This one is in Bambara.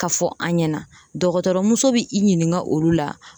Ka fɔ an ɲɛna dɔgɔtɔrɔmuso bi i ɲininka olu la.